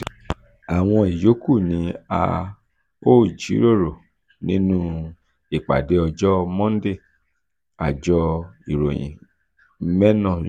àwọn ìyókù ni a ó jíròrò um nínú um ìpàdé ọjọ́ monday àjọ um ìròyìn mena ròyìn.